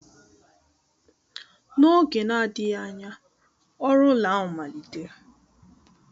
N'oge na-adịghị anya, ọrụ ụlọ ahụ malitere